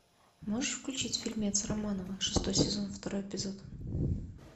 можешь включить фильмец романова шестой сезон второй эпизод